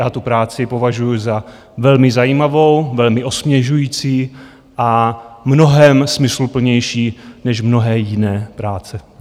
Já tu práci považuji za velmi zajímavou, velmi osvěžující a mnohem smysluplnější než mnohé jiné práce.